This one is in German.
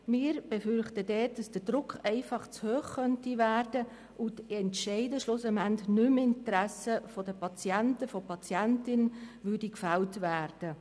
Dort befürchten wir, dass der Druck zu hoch werden könnte und die Entscheide schlussendlich nicht mehr im Interesse der Patientinnen und Patienten gefällt werden.